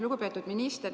Lugupeetud minister!